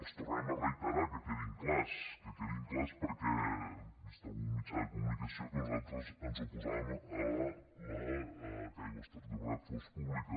els tornem a reiterar que quedin clars que quedin clars perquè he vist en algun mitjà de comunicació que nosaltres ens oposàvem que aigües ter llobregat fos pública